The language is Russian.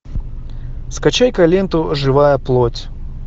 скачай ка ленту живая плоть